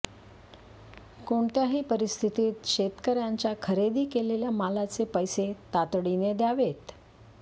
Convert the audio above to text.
कोणत्याही परिस्थितीत शेतकऱ्यांच्या खरेदी केलेल्या मालाचे पैसे तातडीने द्यावेत